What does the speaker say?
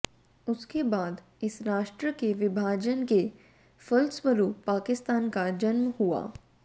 उसके बाद इस राष्ट्र के विभाजन के फलस्वरुप पाकिस्तान का जन्म हुआ